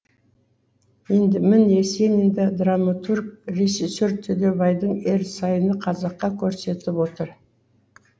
енді міне есенинді драматург режиссер төлеубайдың ерсайыны қазаққа көрсетіп отыр